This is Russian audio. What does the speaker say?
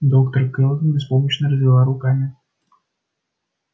доктор кэлвин беспомощно развела руками